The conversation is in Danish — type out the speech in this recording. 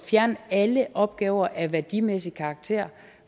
fjerne alle opgaver af værdimæssig karakter